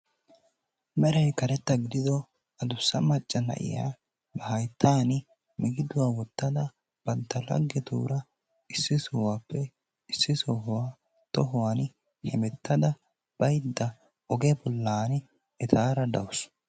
Merayi karetta gidido adussa macca na"iya ba hayttaan migiduwa wottada bantta laggetuura issi sohuwappe issi sohuwa tohuwani hemettada baydda oge bollaani etaara de"awus.